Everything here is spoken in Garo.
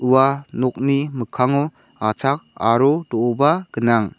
ua nokni mikkango achak aro do·oba gnang.